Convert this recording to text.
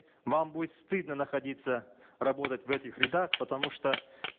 вам будет стыдно находиться работать в этих рядах потому что